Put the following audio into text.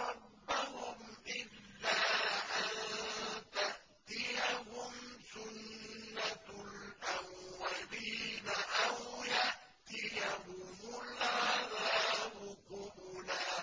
رَبَّهُمْ إِلَّا أَن تَأْتِيَهُمْ سُنَّةُ الْأَوَّلِينَ أَوْ يَأْتِيَهُمُ الْعَذَابُ قُبُلًا